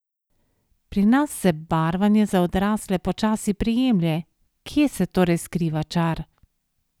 Pri nas se barvanje za odrasle počasi prijemlje, kje se torej skriva čar?